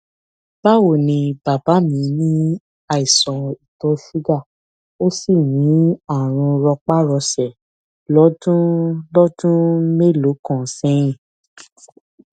báwo ni bàbá mí ní àìsàn ìtọ ṣúgà ó sì ní àrùn rọpárọsẹ lọdún lọdún mélòó kan sẹyìn